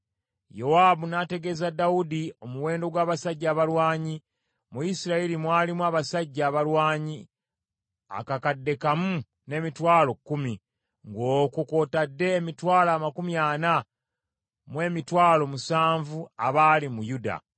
Yowaabu n’ategeeza Dawudi omuwendo gw’abasajja abalwanyi. Mu Isirayiri mwalimu abasajja abalwanyi akakadde kamu n’emitwalo kkumi, ng’okwo kw’otadde emitwalo amakumi ana mu emitwalo musanvu abaali mu Yuda.